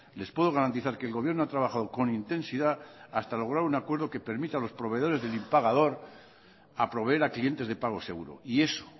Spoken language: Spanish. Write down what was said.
les puedo garantizar que el gobierno ha trabajado con intensidad hasta lograr un acuerdo que permita a los proveedores del impagador a proveer a clientes de pago seguro y eso